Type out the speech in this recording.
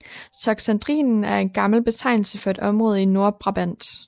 Toxandrien er en gammel betegnelse for et område i Nordbrabant